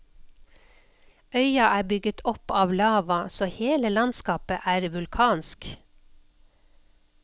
Øya er bygget opp av lava, så hele landskapet er vulkansk.